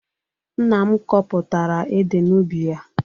Nna m kọpụtara ede n'ubi ya.